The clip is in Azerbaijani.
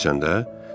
Bilirsən də?